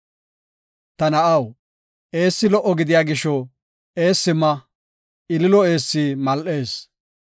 Ta na7aw, eessi lo77o gidiya gisho, eessi ma; ililo eessi mal7ees.